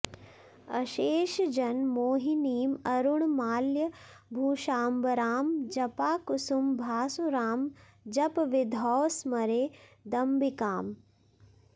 अशेषजन मोहिनीं अरुण माल्य भूषाम्बरां जपाकुसुम भासुरां जपविधौ स्मरे दम्बिकाम्